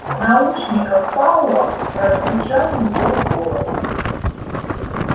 в наушниках пауэлла прозвучал его голос